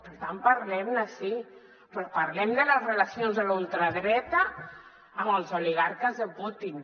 per tant parlem·ne sí però parlem de les relacions de la ultradreta amb els oli·garques de putin